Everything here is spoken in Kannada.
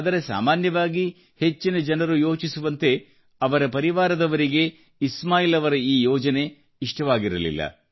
ಆದರೆ ಸಾಮಾನ್ಯವಾಗಿ ಹೆಚ್ಚಿನ ಜನರು ಯೋಚಿಸುವಂತೆ ಅವರ ಪರಿವಾರದವರಿಗೆ ಇಸ್ಮಾಯಿಲ್ ಅವರ ಈ ಯೋಜನೆ ಇಷ್ಟವಾಗಿರಲಿಲ್ಲ